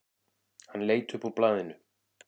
Hann leit upp úr blaðinu.